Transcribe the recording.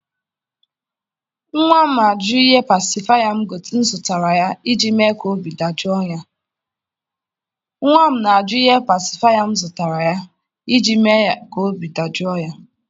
nwa m ajụ ihe pacifier m zụtara iji mee ka obi dajụọ ya.